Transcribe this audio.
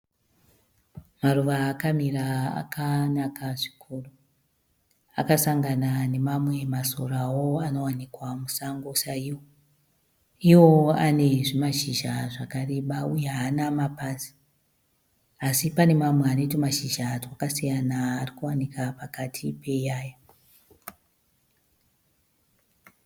Maruva akamira akanaka zvikuru. Akasangana nemamwe masorawo anowanikwa musango saiwo. Iwo ane zvimashizha zvakareba uye haana mapazi asi pane mamwe ane twumashizha twakasiyana ari kuwanika pakati peiyaya.